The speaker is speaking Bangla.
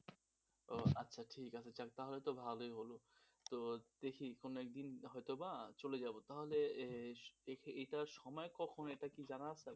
ও আচ্ছা ঠিক আছে যাজ্ঞে, তাহলে তো ভালোই হল, তো দেখি কোন একদিন হয়তোবা চলে যাব তাহলে এর এটার সময় কখন এটা কি জানা আছে?